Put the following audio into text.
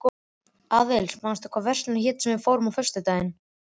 Aðils, manstu hvað verslunin hét sem við fórum í á föstudaginn?